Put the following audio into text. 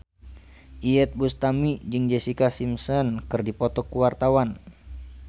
Iyeth Bustami jeung Jessica Simpson keur dipoto ku wartawan